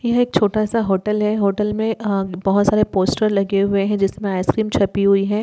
यह एक छोटा सा होटल है होटल में अ बहोत सारे पोस्टर लगे हुए हैं जिसमें आइसक्रीम छपी हुई हैं।